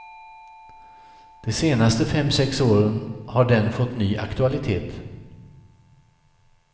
De senaste fem sex åren har den fått ny aktualitet.